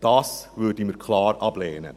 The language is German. Dies würden wir klar ablehnen.